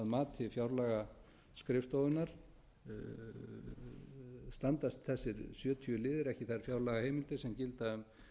þær heimildir að mati fjárlagaskrifstofunnar standast þessir sjötíu liðir ekki þær heimildir sem gilda um